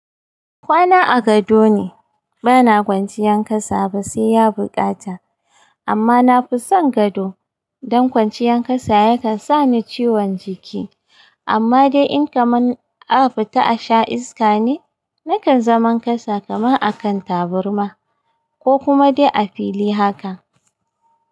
Kwana a gado ne, bana kwanciyan kasa ba sai ya bukata. Amma na fi son gado, don kwanciyan kasa yakan sani ciwon jiki. Amma dai in kamar a fita a sha iska ne, nakan zaman kasa kaman a kan taburma, ko kuma dai a fili haka.